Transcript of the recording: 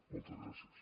moltes gràcies